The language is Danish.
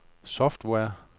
software